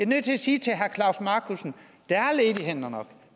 nødt til at sige til herre klaus markussen der er ledige hænder nok